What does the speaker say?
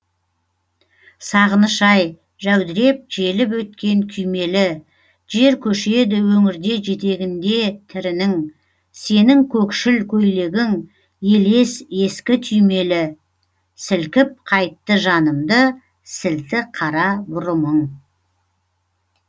сағыныш ай жәудіреп желіп өткен күймелі жер көшеді өңірде жетегінде тірінің сенің көкшіл көйлегің елес ескі түймелі сілкіп қайтты жанымды сілті қара бұрымың